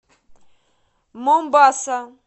момбаса